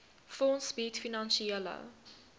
fonds bied finansiële